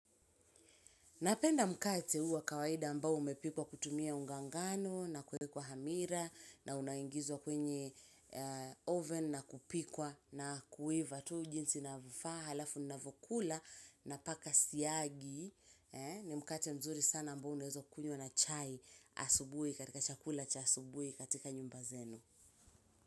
Napenda mkate huu wa kawaida ambao umepikwa kutumia unga ngano na kuwekwa hamira na unaingizwa kwenye oven na kupikwa na kuiva. Tu jinsi inavofaa halafu navokula napaka siagi ni mkate mzuri sana ambao unaezokunywa na chai asubuhi katika chakula cha asubuhi katika nyumba zenu.